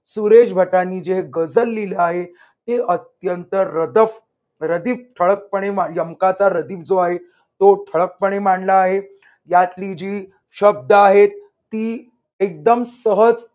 सुरेश भटांनी जे गझल लिहिल आहे. ते अत्यंत रदफ रदीफ यमकाचा रदीफ जो आहे तो ठळकपणे मांडला आहे. यातली जी शब्द आहेत ती एकदम सहज